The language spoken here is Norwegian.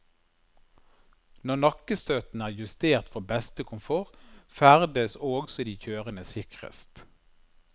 Når nakkestøtten er justert for beste komfort, ferdes også de kjørende sikrest.